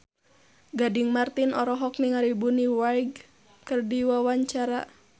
Gading Marten olohok ningali Bonnie Wright keur diwawancara